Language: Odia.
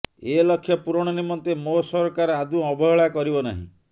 ଏ ଲକ୍ଷ୍ୟ ପୂରଣ ନିମନ୍ତେ ମୋ ସରକାର ଆଦୌ ଅବହେଳା କରିବ ନାହିଁ